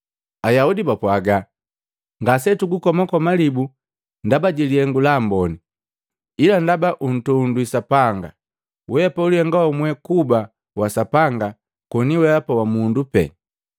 Ayaudi bapwaaga, “Ngasetugukoma malibu ndaba jilihengu la amboni, ila ndaba untondwi Sapanga! Wee ulihenga wamwe kuba wa Sapanga koni weapa wa mundu pee.”